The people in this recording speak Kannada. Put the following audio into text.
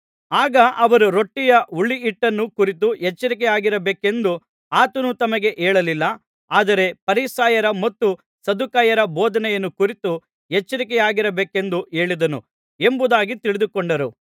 ಆಗ ಅವರು ರೊಟ್ಟಿಯ ಹುಳಿಹಿಟ್ಟನ್ನು ಕುರಿತು ಎಚ್ಚರಿಕೆಯಾಗಿರಬೇಕೆಂದು ಆತನು ತಮಗೆ ಹೇಳಲಿಲ್ಲ ಆದರೆ ಫರಿಸಾಯರ ಮತ್ತು ಸದ್ದುಕಾಯರ ಬೋಧನೆಯನ್ನು ಕುರಿತು ಎಚ್ಚರಿಕೆಯಾಗಿರಬೇಕೆಂದು ಹೇಳಿದನು ಎಂಬುದಾಗಿ ತಿಳಿದುಕೊಂಡರು